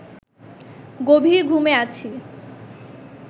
গভীর ঘুমে আছি